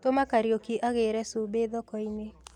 Tũma Kariuki agĩre cumbĩ thokoini.